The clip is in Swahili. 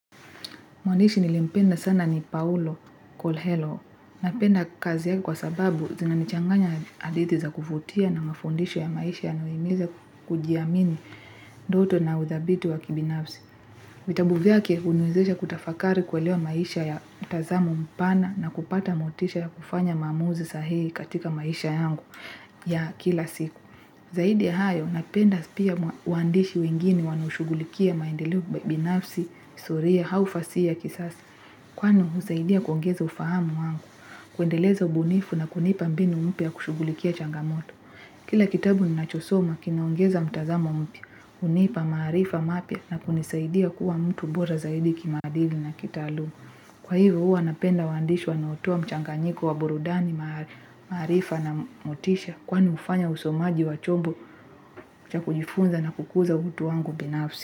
Mwandishi nilimpenda sana ni Paulo Kolhello. Napenda kazi yake kwa sababu zinanichanganya hadithi za kuvutia na mafundisho ya maisha yanayohimiza kujiamini ndoto na uthabiti wa kibinafsi. Vitabu vyake huniwezesha kutafakari kuelewa maisha ya mtazamo mpana na kupata motisha ya kufanya maamuzi sahihi katika maisha yangu ya kila siku. Zaidi ya hayo, napenda pia uandishi wengine wanaoshugulikia maendeleo binafsi, historia, au fasihi ya kisasa. Kwani husaidia kuongeza ufahamu wangu, kuendeleza ubunifu na kunipa mbinu mpya kushughulikia changamoto. Kila kitabu ninachosoma, kinaongeza mtazamo mpya, hunipa maarifa mapya na kunisaidia kuwa mtu bora zaidi kimaadili na kitaaluma. Kwa hivyo huwa napenda waandishi wanaotua mchanganyiko wa burudani maarifa na motisha kwani hufanya usomaji wa chombo cha kujifunza na kukuza utu wangu binafsi.